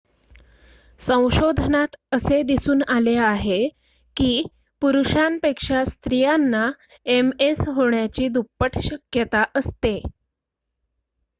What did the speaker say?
संशोधनात असे दिसून आले आहे की पुरुषांपेक्षा स्त्रियांना एमएस होण्याची दुप्पट शक्यता असते